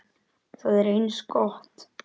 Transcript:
Það er eins gott.